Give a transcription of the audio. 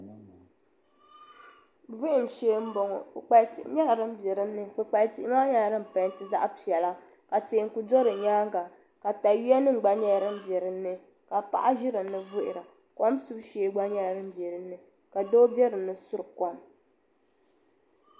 Vuhum shee m bo ŋɔ kpukpalisi nyela din biɛ din ni kpukpali tii maa nyela din peenti zaɣpiɛla ka teeku do di nyaaŋa takayuyanim biɛ din ni ka paɣa ʒi din ni vuhira kom subu shee gba nyela din bɛi din ni ka doo biɛ din di suri kom.